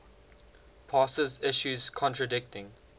passes issues contradicting